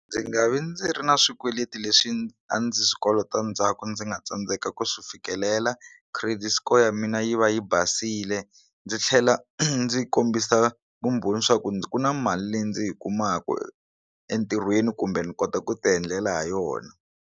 Ndzi nga vi ndzi ri na swikweleti leswi a ndzi swi kolota ndzhaku ndzi nga tsandzeka ku swi fikelela credit score ya mina yi va yi basile ndzi tlhela ndzi kombisa vumbhoni swa ku ndzi ku na mali leyi ndzi yi kumaku entirhweni kumbe ni kota ku ti endlela ha yona.